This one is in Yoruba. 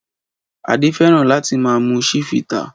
Adé fẹ́ràn láti máa mu Chivita.